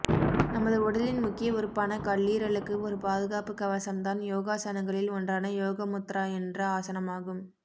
நமது உடலின் முக்கிய உறுப்பான கல்லீரலுக்கு ஒரு பாதுகாப்பு கவசம் தான் யோகாசனங்களில் ஒன்றான யோகமுத்ரா என்ற ஆசனமாகும்